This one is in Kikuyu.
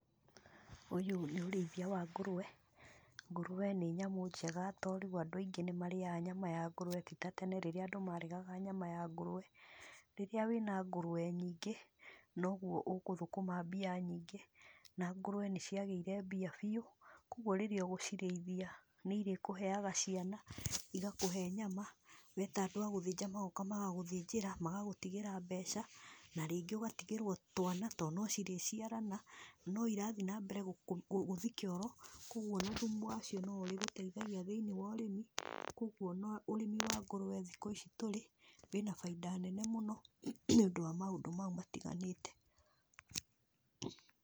Ũyũ nĩ ũrĩithia wa ngũrwe, ngũrwe nĩ nyamũ njega tondũ andũ aingĩ nĩmarĩaga nyama ya ngũrwe ti ta tene rĩrĩa andũ maregaga nyama ya ngũrwe, rĩrĩa wĩna ngũrwe nyingĩ, noguo ũgũthũkũma mbia nyingĩ, na ngũrwe nĩciagĩire mbia biũ, koguo rĩrĩa ũgũciríithia nĩirĩkũheaga ciana, igakũhe nyama, weta andũ a gũthĩnja magoka magagũthĩnjĩra, magagũtigĩra mbeca, na rĩngí ũgatigĩrwo twana to nocirĩciarana, noirathi nambere kũ gũthi kĩoro, koguo ona thumu wacio noũrĩgũteithagia thĩ-inĩ wa ũrĩmi, koguo ona ũrĩmi wa ngũrwe thikũ ici tũrĩ, wĩna baida nene mũno nĩ ũndũ wa maũndũ mau matiganĩte.